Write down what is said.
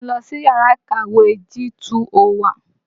Mò ń lọ sìyárà ìkàwé G201.